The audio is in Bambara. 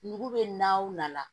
Nugu bɛ na u nana